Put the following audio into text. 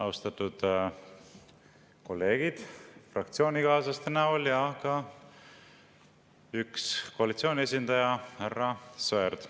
Austatud kolleegid fraktsioonikaaslaste näol ja üks koalitsiooni esindaja, härra Sõerd!